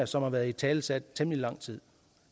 som har været italesat i temmelig lang tid